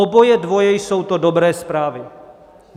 Oboje dvoje jsou to dobré zprávy.